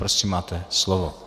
Prosím, máte slovo.